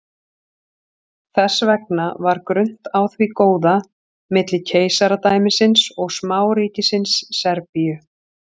Þess vegna var grunnt á því góða milli keisaradæmisins og smáríkisins Serbíu.